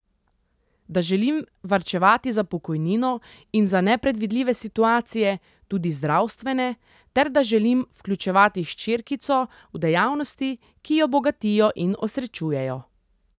Da želim varčevati za pokojnino in za nepredvidljive situacije, tudi zdravstvene, ter da želim vključevati hčerkico v dejavnosti, ki jo bogatijo in osrečujejo.